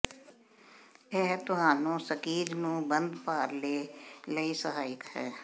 ਇਹ ਤੁਹਾਨੂੰ ਸਕੀਜ਼ ਨੂੰ ਬੰਦ ਭਾਰ ਲੈ ਲਈ ਸਹਾਇਕ ਹੈ